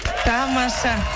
тамаша